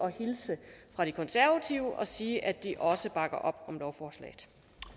hilse fra de konservative og sige at de også bakker op om lovforslaget